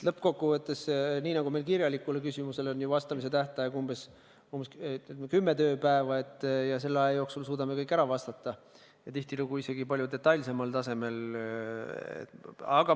Lõppkokkuvõttes aga on nii, et meil on kirjalikule küsimusele vastamise tähtaeg umbes kümme tööpäeva ja selle aja jooksul me suudame kõik ära vastata ja tihtilugu isegi palju detailsemal tasemel.